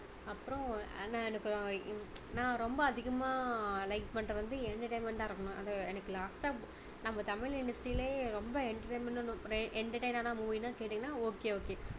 அப்பறம் நான் எனக்கு நான் ரொம்ப அதிகமா like பண்றது வந்து entertainment டா இருக்கணும் அது எனக்கு last டா நம்ம தமிழ் industry லயே ரொம்ப entertainment டான entertain னான movie னு கேட்டீங்கன்னா okay okay